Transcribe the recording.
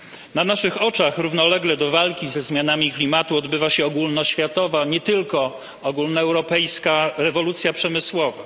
Na naszych oczach, równolegle do walki ze zmianą klimatu, odbywa się ogólnoświatowa, nie tylko ogólnoeuropejska, rewolucja przemysłowa.